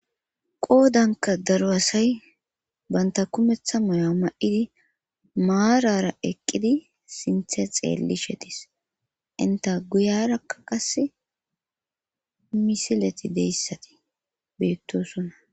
qoodanka daro asay banta kumetha moya ma7idi maarara eqqidi sinthe xeelli shetis inta guyarakka qasi misileti de7yassati beettosonna